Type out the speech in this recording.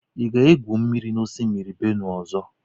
Ị ga-egwù mmiri n'osimiri Benue ọzọ?